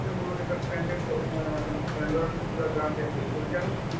মোৰো এটা friend য়ে কিবা গা বেয়া হৈ গৈছিল তেতিয়া আমি